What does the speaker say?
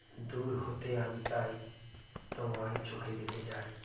দূর হতে আমি তাই তোমায় চোখে দেখে যাই